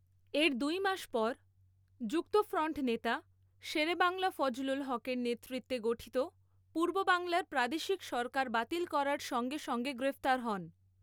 এর দু্ই মাস পর যুক্তফ্রন্ট নেতা শেরেবাংলা ফজলুল হকের নেতৃত্বে গঠিত পূর্ববাংলার প্রাদেশিক সরকার বাতিল করার সঙ্গে সঙ্গে গ্রেফতার হন।